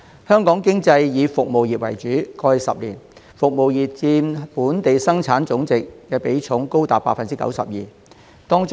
香港經濟以服務業為主導，過去10年，服務業佔本地生產總值的比重高達 92%。